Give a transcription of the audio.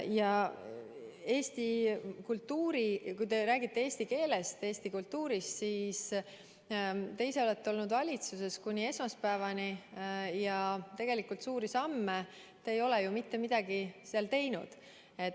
Mis puutub eesti kultuuri – te räägite eesti keelest ja eesti kultuurist –, siis te olite kuni esmaspäevani valitsuses, aga tegelikult suuri samme seal ei astunud.